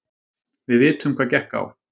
Við vitum hvað gekk á.